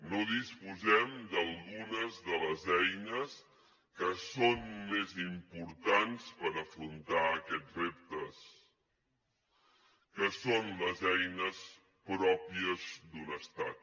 no disposem d’algunes de les eines que són més importants per afrontar aquests reptes que són les eines pròpies d’un estat